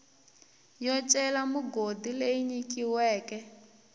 yo cela migodi leyi nyikiweke